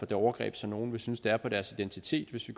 det overgreb som nogle vil synes det er på deres identitet hvis vi